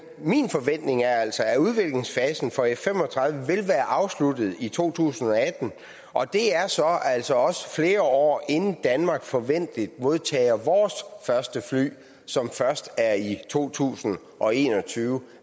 min forventning er altså at udviklingsfasen for f fem og tredive vil være afsluttet i to tusind og atten og det er så altså også flere år inden danmark forventeligt modtager vores første fly som først er i to tusind og en og tyve